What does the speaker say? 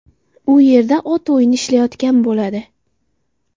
U yerda ot o‘yini ishlayotgan bo‘ladi.